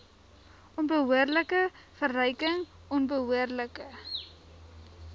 onbehoorlike verryking onbehoorlike